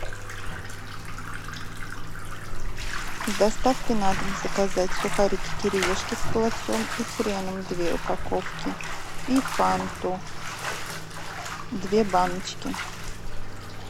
с доставкой на дом заказать сухарики кириешки с холодцом и хреном две упаковки и фанту две баночки